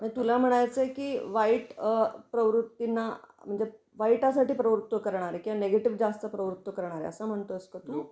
मग तुला म्हणायचं आहे कि वाईट प्रवृत्तींना म्हणजे वाईटा साठी प्रवृत्त करणारे किंवा नेगेटिव्ह जास्त प्रवृत्त करणारे असं म्हणतो आहेस का तू?